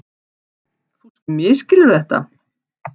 Þú misskilur þetta.